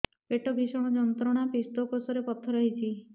ପେଟ ଭୀଷଣ ଯନ୍ତ୍ରଣା ପିତକୋଷ ରେ ପଥର ହେଇଚି